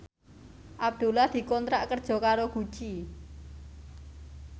Abdullah dikontrak kerja karo Gucci